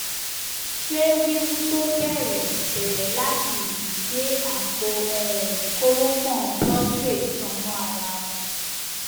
ṣé wíwú tó bẹrẹ bẹrẹ láti ìdí dé àpò um kórópọn prostrate tan mọ ara wọn